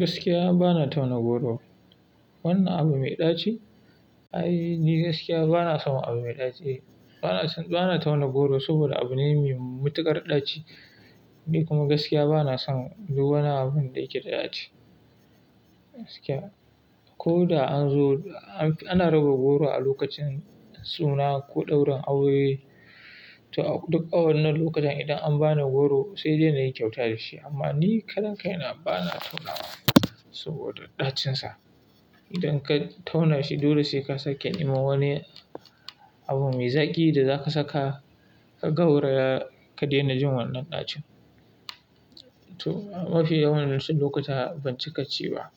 Gaskiya bana tauna goro. Wannan abu mai ɗaci? Ai, ni gaskiya bana son abu mai ɗaci. Bana, bana tauna goro saboda abu ne mai matuƙar ɗaci. Ni kuma gaskiya bana son duka wani abun da yake da ɗaci. Gaskiya. Ko da an zo, ana raba goro a lokacin suna ko ɗaurin aure, to duk a wannan lokacin idan an bani goro sai dai na yi kyauta da shi amma ni karan kai na bana taunawa saboda ɗacinsa. Idan ka tauna shi dole sai ka sake nema wani abu mai zaƙi da za ka saka ka gauraya ka daina jin wannan ɗacin. To, mafi yawancin lokuta ban cika ci ba.